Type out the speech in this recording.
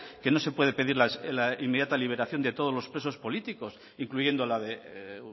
que no se puede pedir la inmediata liberación de todos los presos políticos incluyendo la de